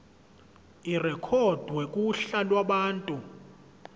irekhodwe kuhla lwabantu